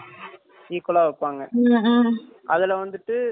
அதுல வந்துட்டு chicken இருக்கும் chicken kebab